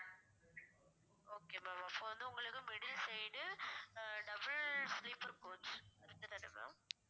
okay ma'am அப்ப வந்து உங்களுக்கு middle side uh ah double sleeper coach correct தான ma'am